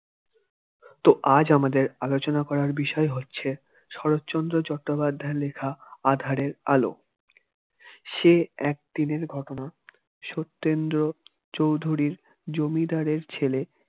তো আজ আমাদের আলোচনা করার বিষয়ে হচ্ছে শরৎচন্দ্র চট্টোপাধ্যায়ের লেখা আঁধারে আলো সে এক দিনের ঘটনা সত্যেন্দ্র চৌধুরীর জমিদারের ছেলে